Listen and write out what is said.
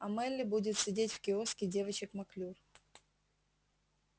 а мелли будет сидеть в киоске девочек маклюр